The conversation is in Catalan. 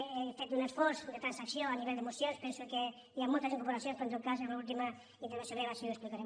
he fet un esforç de trans·acció a nivell de mocions penso que hi han moltes in·corporacions però en tot cas en l’última intervenció meva així ho explicaré